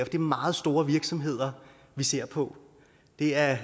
det er meget store virksomheder vi ser på det er